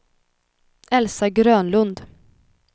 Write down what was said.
Elsa Grönlund